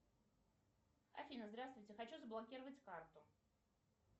афина здравствуйте хочу заблокировать карту